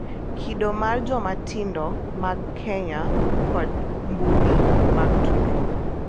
Kido mar joma tindo mag Kenya kod mbui mag tudruok